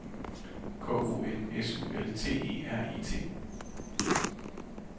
K O N S U L T E R E T